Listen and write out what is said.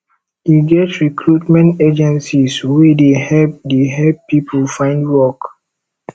e get recruitment agencies wey dey help dey help pipo find work